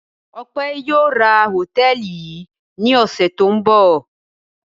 Ọpẹ́ yóò ra hòtẹ́ẹ́lì yìí ní ọ̀sẹ̀ tó ń bọ̀.